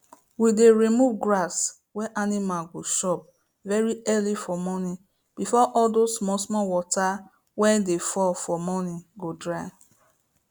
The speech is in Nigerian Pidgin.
we dey remove grass wey animal go chop very early for morning before all those small small water wey dey fall for morning go dry